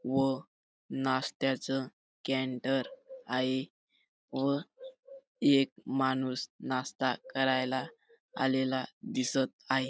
व नाश्त्याच सेंटर आहे व एक माणूस नाश्ता करायला आलेला दिसत आहे.